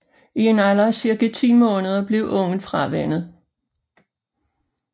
I en alder af cirka 10 måneder bliver ungen fravænnet